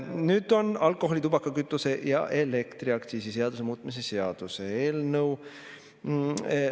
Nüüd on alkoholi-, tubaka-, kütuse- ja elektriaktsiisi seaduse muutmise seaduse eelnõu.